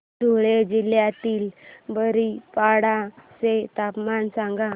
धुळे जिल्ह्यातील बारीपाडा चे तापमान सांग